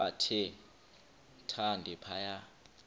bathe thande phaya